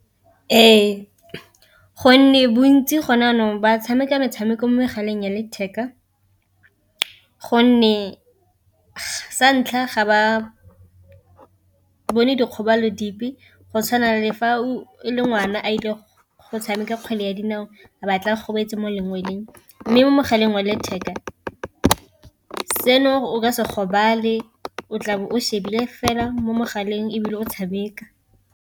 Ee, gonne bontsi gone jaanong ba tshameka metshameko mo megaleng ya letheka, gonne sa ntlha ga ba bone dikgobalo dipe go tshwana le fa e le ngwana a ile go tshameka kgwele ya dinao a ba tla gobetse mo lengweleng, mme mo mogaleng wa letheka seno o ka se gobala fa o tlabe o shebile fela mo mogaleng ebile o tshameka.